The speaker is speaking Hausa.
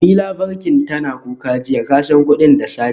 Jemi labar bankin tana kuka jiya, kasa kudin da sace